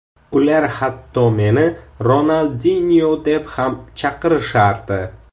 Ular hatto meni Ronaldinyo deb ham chaqirishardi.